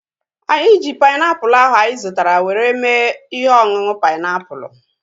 Anyị ji painiapulu ahu anyị zụtara were mee ihe ọṅụṅụ painiapulu